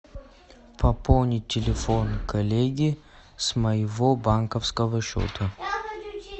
пополнить телефон коллеги с моего банковского счета